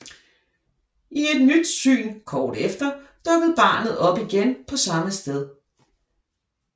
I et nyt syn kort efter dukkede barnet op igen på samme sted